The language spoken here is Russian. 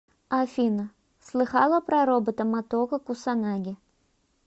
афина слыхала про робота мотоко кусанаги